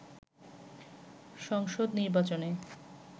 সংসদ নির্বাচনে